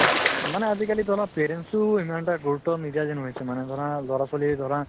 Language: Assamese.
মানে আজিকালি ধৰা parents ও ইমান এটা গুৰুত্ব নিদিয়া যেন হৈছে মানে ধৰা লৰা-ছোৱালি ধৰা